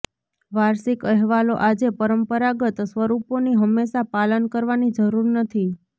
વાર્ષિક અહેવાલો આજે પરંપરાગત સ્વરૂપોની હંમેશા પાલન કરવાની જરૂર નથી